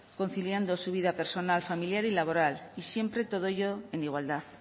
conciliando su vida personal familiar y laboral y siempre todo ello en igualdad